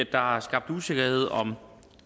der er skabt usikkerhed om